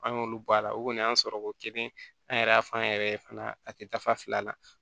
An y'olu bɔ a la o kɔni y'an sɔrɔ ko kelen an yɛrɛ y'a fɔ an yɛrɛ ye fana a tɛ dafa la